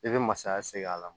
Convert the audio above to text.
I bɛ masaya segin a la